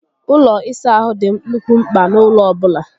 Ụlọ ịsa ahụ dị nnukwu mpka n'ụlọ ọbụla